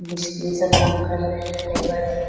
मिस्त्री सब काम कर रहे है लेबर है।